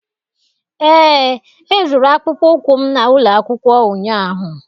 ee, Ezuru akpụkpọ ụkwụ m na ụlọ akwụkwọ ụnyaahụ